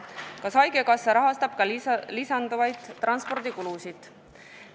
Kas haigekassa rahastab ka lisanduvaid transpordikulusid?